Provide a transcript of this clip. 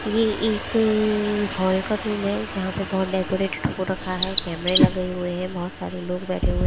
यह एक हॉल का रूम है। जहां पे बहोत डेकोरेटेड हो रखा है। कैमरे लगे हुए हैं बहोत सारे लोग बैठे हुए हैं।